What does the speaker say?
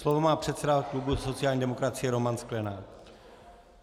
Slovo má předseda klubu sociální demokracie Roman Sklenák.